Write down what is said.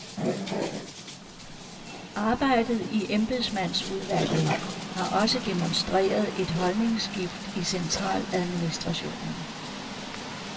Arbejdet i embedsmandsudvalget har også demonstreret et holdningsskift i centraladministrationen.